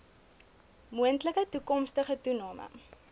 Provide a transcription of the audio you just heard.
moontlike toekomstige toename